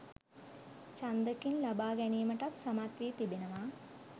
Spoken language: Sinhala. ඡන්දකින් ලබාගැනීමටත් සමත් වී තිබෙනවා